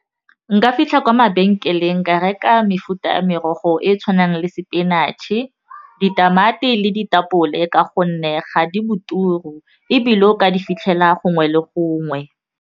Nka fitlha kwa mabenkeleng nka reka mefuta ya merogo e e tshwanang le spinach-e, ditamati le ditapole ka gonne ga di boturu ebile o ka di fitlhela gongwe le gongwe.